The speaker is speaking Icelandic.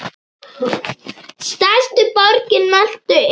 Stærstu borgir Möltu eru